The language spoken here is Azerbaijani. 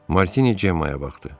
Martini Cemmaya baxdı.